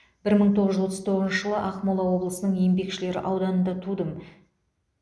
бір мың тоғыз жүз отыз тоғызыншы жылы ақмола облысының еңбекшілер ауданында тудым